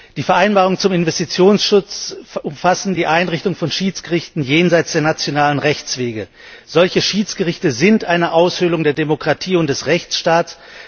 Die Vereinbarungen zum Investitionsschutz umfassen die Einrichtung von Schiedsgerichten jenseits der nationalen Rechtswege. Solche Schiedsgerichte sind eine Aushöhlung der Demokratie und des Rechtsstaates.